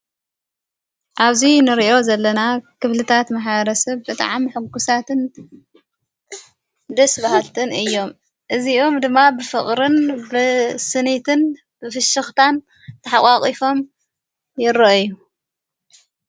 ዓብዙይ ንርዮ ዘለና ኽብልታት መሓረስብ በጥዓም ሕጕሳትን ድስባሃትትን እዮም። እዚኦም ድማ ብፍቕርን ብስኒትን ብፍሽኽታን ተሓዋቒፎም የሮእዩ።